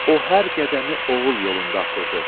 O hər qədəmi oğul yolunda atırdı.